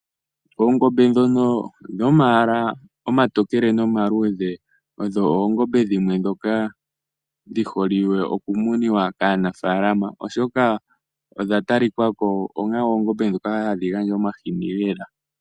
Oongombe dhono dhomayala omatokele nomaluudhe, odho oongombe dhimwe ndhoka dhihole oku muniwa kaanafaalama, oshoka odha talika ko onga oongombe ndhoka hadhi gandja omahini lela.